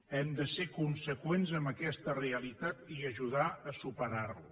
hem de ser conseqüents amb aquesta realitat i ajudar a superar la